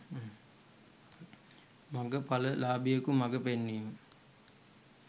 මග පල ලාබියෙකුගේ මග පෙන්වීම